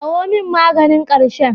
Kawo min maganin ƙarshen.